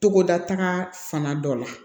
Togoda ta fana dɔ la